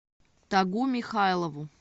тагу михайлову